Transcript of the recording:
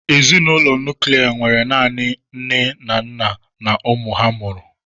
Ezinụlọ nuklia nwere naanị nne na nna na ụmụ ha mụrụ.